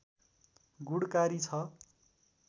गुणकारी छ